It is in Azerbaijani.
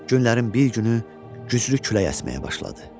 Günlərin bir günü güclü külək əsməyə başladı.